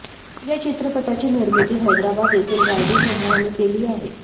या चित्रपटाची निर्मिती हैदराबाद येथील रायडू समूहाने केली आहे